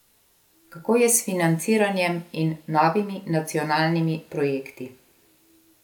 Kako je s financiranjem in novimi nacionalnimi projekti?